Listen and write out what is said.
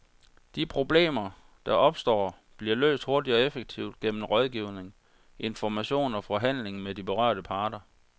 De problemer, der opstår, bliver løst hurtigt og effektivt gennem rådgivning, information og forhandling med de berørte parter.